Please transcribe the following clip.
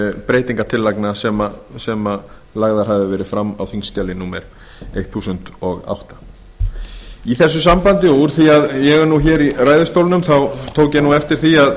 breytingartillagna sem lagðar aðra verið fram á þingskjali númer eitt þúsund og átta í þessu sambandi og úr því að ég er nú hér í ræðustólnum tók ég eftir því að